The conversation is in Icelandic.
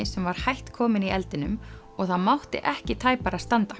sem var hætt kominn í eldinum og það mátti ekki tæpara standa